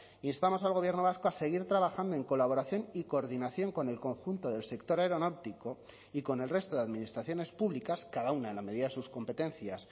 instamos al gobierno vasco a seguir trabajando en colaboración y coordinación con el conjunto del sector aeronáutico y con el resto de administraciones públicas cada una en la medida de sus competencias